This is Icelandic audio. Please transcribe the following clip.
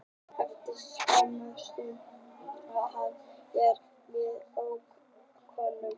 Eftir skamma stund náði hann í leigubíl sem ók honum heim.